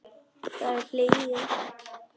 Það er hlegið.